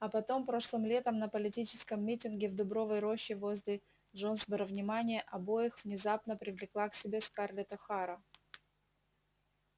а потом прошлым летом на политическом митинге в дубовой роще возле джонсборо внимание обоих внезапно привлекла к себе скарлетт охара